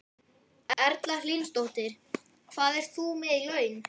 Erla Hlynsdóttir: Hvað ert þú með í laun?